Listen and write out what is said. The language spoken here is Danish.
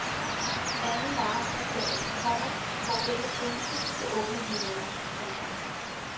Anden marts er dagen, komma hvor denne tjeneste vil åbne linierne. punktum